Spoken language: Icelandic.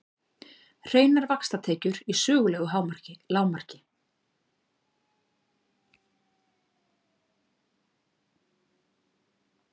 Hreinar vaxtatekjur í sögulegu lágmarki